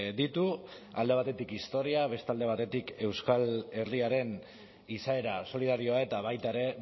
ditu alde batetik historia beste alde batetik euskal herriaren izaera solidarioa eta baita ere